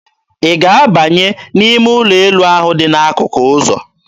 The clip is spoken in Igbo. Ị ga-abanye n'ime ụlọ elu ahụ dị n'akụkụ ụzọ?